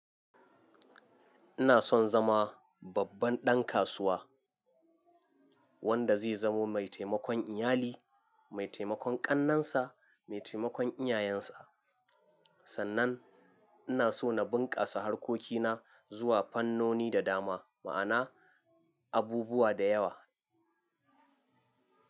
Ina son zama babban ɗan kasuwa wanda zai zamo mai taimakon iyali, mai taimakon ƙannensa, mai taimakon iyayensa. Sannan ina so na bunƙasa harkokina, zuwa fannoni da dama, ma'ana abubuwa da yawa.